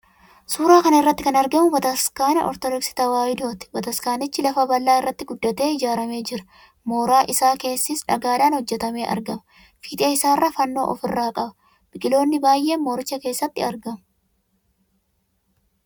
Suuraa kana irratti kan argamu Bataskaana Ortodoksii Tewaahidooti. Bataskaanichi lafa bal'aa irratti guddatee ijaaramee jira. Mooraan isaa keessis dhagaadhaan hojjetamee argama. Fiixee isaarraa fannoo of irraa qaba. Biqiloonni baay'ee mooricha keessatti argamu.